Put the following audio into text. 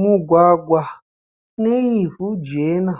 Mugwagwa une ivhu jena